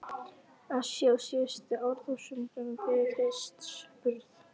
Asíu á síðustu árþúsundum fyrir Krists burð.